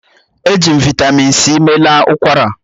Eji m Vị́tamị́n c meela ụkwara